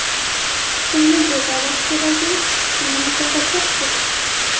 Kimni jazolash keragu, kimni mukofotlash kerak?